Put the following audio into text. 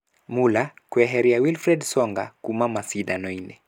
Muller kũeheria Wilfried Tsonga kuuma macindano-inĩ.